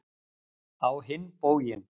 Á hinn bóginn.